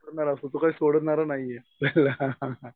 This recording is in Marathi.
करणारा असो तो काही सोडणार नाहीये